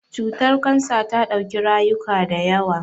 Cutar Kansa ta dauki rayuka da yawa.